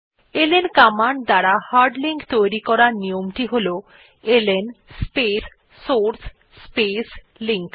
LN command দ্বারা hard link তৈরী করার নিয়মটি হল LN space source space link